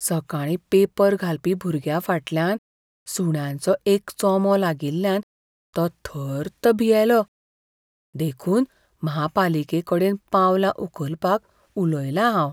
सकाळीं पेपर घालपी भुरग्याफाटल्यान सुण्यांचो एक चोमो लागिल्ल्यान तो थर्त भियेल्लो. देखून म्हापालिकेकडेन पावलां उखलपाक उलयलां हांव.